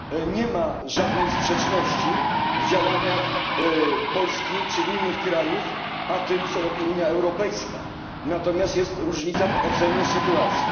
Nie ma żadnej sprzeczności między działaniami Polski czy innych krajów a tym, co robi Unia Europejska, natomiast jest różnica w ocenie sytuacji.